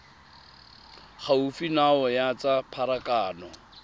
gaufi nao ya tsa pharakano